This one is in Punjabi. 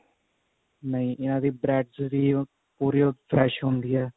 ਨਹੀ ਇਹਨਾ ਦੀ bread ਜਿਹੜੀ ਉਹ fresh ਹੁੰਦੀ ਆ